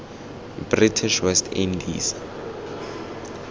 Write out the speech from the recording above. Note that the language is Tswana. british west indies